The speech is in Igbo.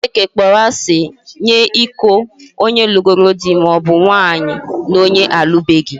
Chineke kpọrọ asị nye iko onye lugoro dị maọbu nwaanyị na onye alụbeghi